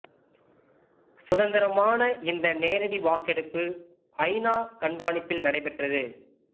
சுதந்திரமான இந்த நேரடி வாக்கெடுப்பு ஐ நா கண்காணிப்பில் நடைபெற்றது